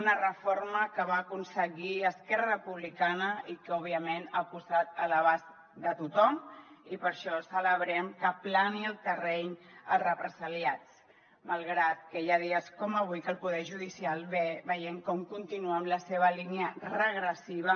una reforma que va aconseguir esquerra republicana i que òbviament ha posat a l’abast de tothom i per això celebrem que aplani el terreny a represaliats malgrat que hi ha dies com avui que el poder judicial veiem com continua amb la seva línia regressiva